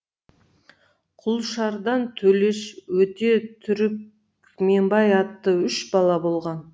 құлшардан төлеш өте түрікменбай атты үш бала болған